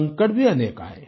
संकट भी अनेक आए